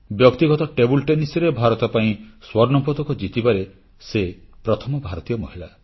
ବ୍ୟକ୍ତିଗତ ଟେବୁଲ ଟେନିସରେ ଭାରତ ପାଇଁ ସ୍ୱର୍ଣ୍ଣପଦକ ଜିତିବାରେ ସେ ପ୍ରଥମ ଭାରତୀୟ ମହିଳା